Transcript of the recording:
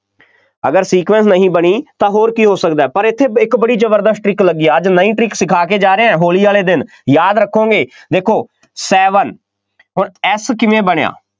ਅਗਰ sequence ਨਹੀਂ ਬਣੀ, ਤਾਂ ਹੋਰ ਕੀ ਹੋ ਸਕਦਾ, ਪਰ ਇੱਥੇ ਇੱਕ ਬੜੀ ਜ਼ਬਰਦਸਤ trick ਲੱਗੀ ਹੈ, ਅੱਜ ਨਵੀਂ trick ਸਿਖਾ ਕੇ ਜਾ ਰਹੇ ਹਾਂ, ਹੋਲੀ ਵਾਲੇ ਦਿਨ, ਯਾਦ ਰੱਖੋਂਗੇ, ਦੇਖੋ Seven ਹੁਣ S ਕਿਵੇਂ ਬਣਿਆ,